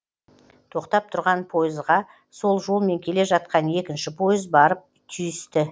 тоқтап тұрған пойызға сол жолмен келе жатқан екінші пойыз барып түйісті